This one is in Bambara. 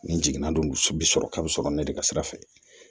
Nin jiginna don misi bi sɔrɔ kabo sɔrɔ ne de ka sira fɛ